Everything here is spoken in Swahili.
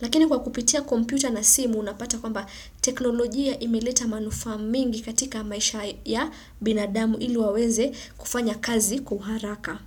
Lakini kwa kupitia kompyuta na simu unapata kwamba teknolojia imeleta manufaa mingi katika maisha ya binadamu iliwaweze kufanya kazi kwa uharaka.